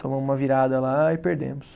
Tomamos uma virada lá e perdemos.